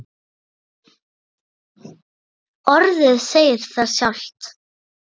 Orðið segir það sjálft.